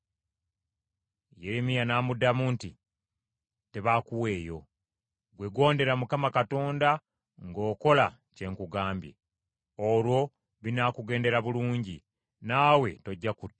Yeremiya n’amuddamu nti, “Tebaakuweeyo. Ggwe gondera Mukama Katonda ng’okola kye nkugamba. Olwo binaakugendera bulungi, nawe tojja kuttibwa.